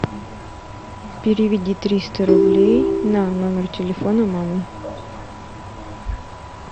переведи триста рублей на номер телефона мамы